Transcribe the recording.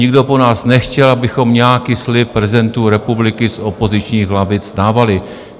Nikdo po nás nechtěl, abychom nějaký slib prezidentu republiky z opozičních lavic dávali.